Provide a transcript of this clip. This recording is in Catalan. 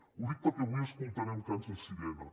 ho dic perquè avui escoltarem cants de sirena